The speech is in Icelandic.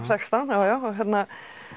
sextán já já og hérna